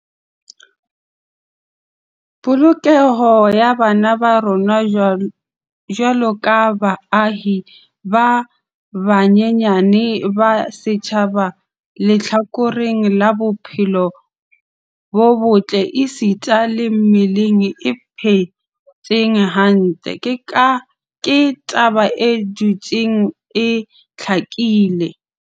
Polokeho ya bana ba rona jwaloka baahi ba banyenyane ba setjhaba lehlakoreng la bophelo bo botle esita le mmeleng e phetseng hantle, ke taba e dutseng e hlakile.